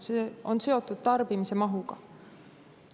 See on seotud tarbimise mahuga.